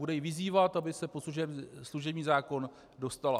Bude ji vyzývat, aby se pod služební zákon dostala.